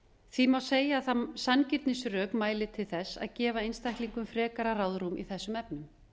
því má segja að sanngirnisrök mæli til þess að gefa einstaklingum frekara ráðrúm í þessum efnum